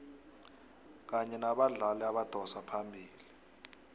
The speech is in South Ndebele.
kanye nabadlali abadosa phambili